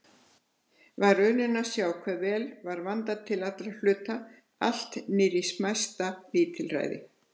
Var unun að sjá hve vel var vandað til allra hluta, allt niðrí smæsta lítilræði.